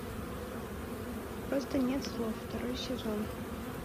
просто нет слов второй сезон